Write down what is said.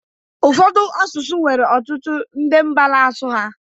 Ụfọdụ asụsụ nwere ọtụtụ ndị na mba n'asụ ha